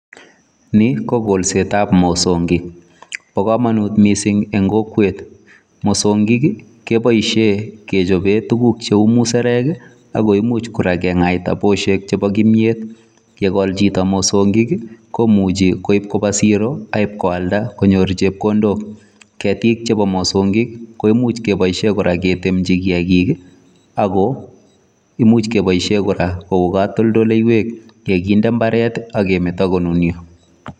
Ni ko kolset ab mosongik, bo komonut mising en kokwet mosngik keboisie kechoben tuguk cheu musarek ak ko imuch kora ke ngaita bushek chebo kimyet. Ngokol chito mosongik komuche koib koba siro ak ibkoalda konyo chepkondok. Ketik chebo mosongik koimuch keboisien kora ketemchi kiyakik ago imuch keboisie kora koik katoltoleiywek ye kinde mbaret ak kemeto konunyo